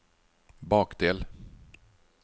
bakdel